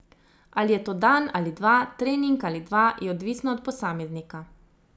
Ali je to dan ali dva, trening ali dva, je odvisno od posameznika.